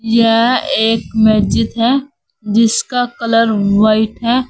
यह एक मस्जिद है जिसका कलर व्हाइट है।